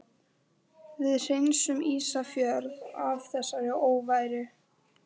Við hreinsum Ísafjörð af þessari óværu!